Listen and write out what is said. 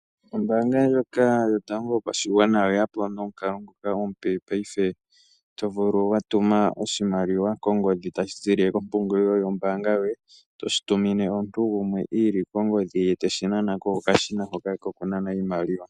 Ombaanga ndjoka yotango yopashigwana oyeya po nomukalo ngoka omupe paife, tovulu watuma oshimaliwa kongodhi , tashi ziilile kompungulilo yoye, toshi tumine omuntu gumwe iilile kongodhi, eteshi nana kokashina kokunanaa iimaliwa.